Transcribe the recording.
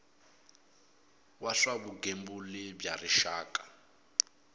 wa swa vugembuli bya rixaka